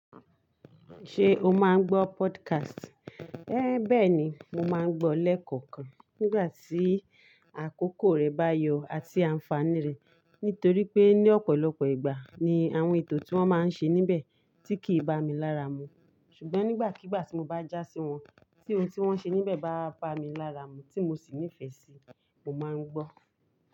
Ṣé o máa ń gbọ́ podcast? Én béẹ̀ ni, mo máa ń gbọ́ lẹ́ẹ̀kọ̀kan nígbà tí àkókò rẹ̀ bá yọ àti ànfàní rẹ̀. Nítorí pé ní ọ̀pọ̀lọpọ̀ ìgbà ni àwọn ètò tí wọ́n máa ń ṣe níbẹ̀ tí kì í bá mi lára mu. Ṣùgbọ́n nígbàkígbà tí mo bá já sí wọn, tí oun tí wọ́n ṣe níbẹ̀ bá bá mi lára mu tí mo sì nífẹ̀ẹ́ sí, mo máa ń gbọ́.